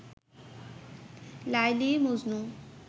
Laili Majnu